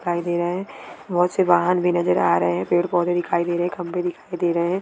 दिखाई दे रहा है बहुत से वाहन भी नजर आ रहे है पेड़ पौधे दिखाई दे रहे खंबे दिखाई दे रहे है।